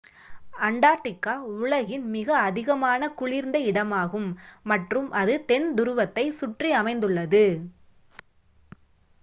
Antarctica உலகின் மிக அதிகமான குளிர்ந்த இடமாகும் மற்றும் அது தென் துருவத்தை சுற்றியமைந்துள்ளது